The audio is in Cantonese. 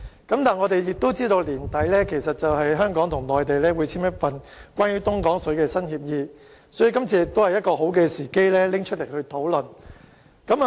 但是，我們知道本年年底，香港和內地會簽署一份關於東江水的新協議，所以，這次亦是好時機討論相關議題。